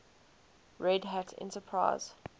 red hat enterprise